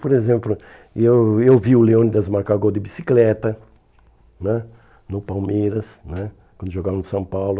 Por exemplo, eu eu vi o Leônidas marcar gol de bicicleta né no Palmeiras né, quando jogava no São Paulo.